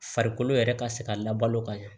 Farikolo yɛrɛ ka se ka labalo ka ɲɛ